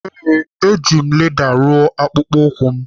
Ee, eji m leda rụọ akpụkpọ ụkwụ m.